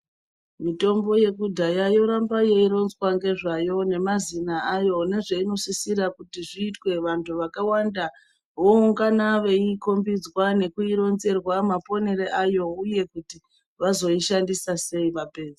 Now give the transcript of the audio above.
Mitombo yekudhaya yoramba yei ronzwa ngezvayo ne mazina ayo ne zveino sisira kuti zviite vantu vakawanda vo ungana veyi kombidzwa nekuyi ronzerwa maponere ayo uye kuti vazoi shandisa sei vapedza.